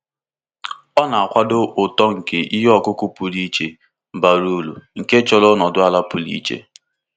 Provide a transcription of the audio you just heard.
Ọ na-akwado uto nke ihe ọkụkụ pụrụ iche bara uru nke chọrọ ọnọdụ ala pụrụ iche.